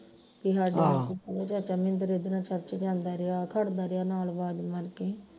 ਬਈ ਹਾਡੇ ਚਾਚਾ ਮਹਿੰਦਰ ਇਹਦੇ ਨਾਲ ਚਰਚ ਜਾਂਦਾ ਰਿਹਾ ਖੜਦਾ ਰਿਹਾ ਨਾਲ ਅਵਾਜ ਮਾਰ ਕੇ